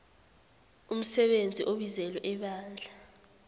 umsebenzi obizelwe ebandla